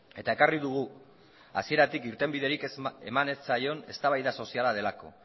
eta ekarri dugu hasieratik irtenbiderik eman ez zaion eztabaida soziala delako